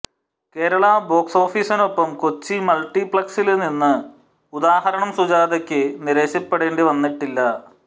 Kerala box ഓഫീസിനൊപ്പം കൊച്ചി മള്ട്ടിപ്ലെക്സില് നിന്നും ഉദാഹരണം സുജാതയ്ക്ക് നിരാശപ്പെടേണ്ടി വന്നിട്ടില്ല